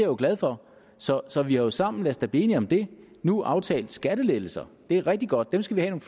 jo glad for så så vi har jo sammen lad os da blive enige om det nu aftalt skattelettelser det er rigtig godt dem skal vi have